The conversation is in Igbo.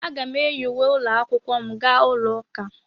Aga m eyi uwe ụlọ akwụkwọ m aga ụlọ ụka.